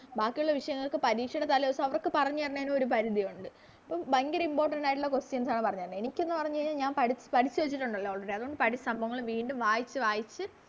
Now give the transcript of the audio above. ബാക്കിയൊള്ള വിഷയങ്ങൾക്ക് പരീക്ഷെടെ തലേ ദിവസം അവർക്ക് പറഞ്ഞ് താരാണെന് ഒരു പരിധി ഒണ്ട് അപ്പൊ ഭയങ്കര Important ആയിട്ടൊള്ള Questions ആണ് പറഞ്ഞരണെ എനിക്കെന്ന് പറഞ്ഞ് കയിഞ്ഞ ഞാൻ പഠി പഠിച്ച് വെച്ചിട്ടുണ്ടല്ലോ Already അതുകൊണ്ട് പഠിച്ച സംഭവങ്ങള് വീണ്ടും വായിച്ച് വായിച്ച്